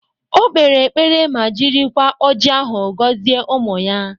O kpere ekpere ma jirikwa ọji ahụ gọzie ụmụ ya